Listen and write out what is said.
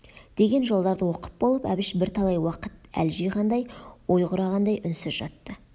деген жолдарды оқып болып әбіш бірталай уақыт әл жиғандай ой құрағандай үнсіз жатты